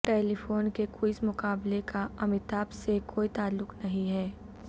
ٹیلی فن کے کوئز مقابلے کا امیتابھ سے کوئی تعلق نہیں ہے